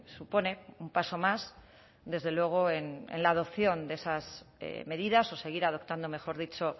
supone un paso más desde luego en la adopción de esas medidas o seguir adoptando mejor dicho